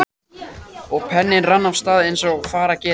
Og penninn rann af stað eins og fara gerir.